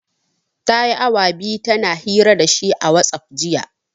Ta yi awa biyu tana hira da shi a watsaf, jiya.